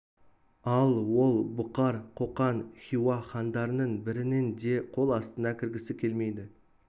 ал ол бұқар қоқан хиуа хандарының бірінің де қол астына кіргісі келмейді